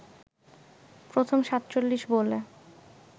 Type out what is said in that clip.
প্রথম ৪৭ বলে